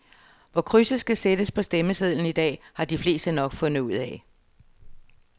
Hvor krydset skal sættes på stemmesedlen i dag, har de fleste nok fundet ud af.